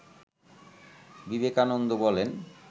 বিবেকানন্দ বলেন